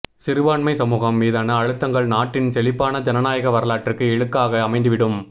சிறுபான்மை சமூகம் மீதான அழுத்தங்கள் நாட்டின் செழிப்பான ஜனநாயக வரலாற்றுக்கு இழுக்காக அமைந்துவிடும்